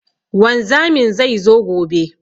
Wanzamin zai zo gobe.